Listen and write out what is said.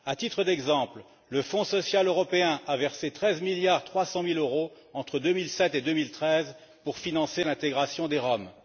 À titre d'exemple, le Fonds social européen a versé 13,3 milliards d'euros entre 2007 et 2013 pour financer l'intégration des Roms.